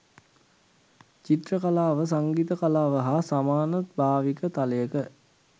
චිත්‍ර කලාව සංගීත කලාව හා සමාන භාවික තලයක